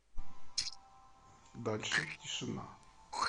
дальше тишина